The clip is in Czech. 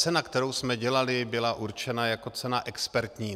Cena, kterou jsme dělali, byla určena jako cena expertní.